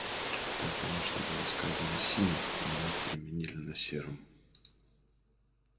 там конечно было сказано синим но мы переменили на серым